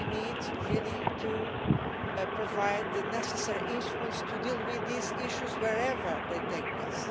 We need really to provide the necessary instruments to deal with these issues wherever they take place.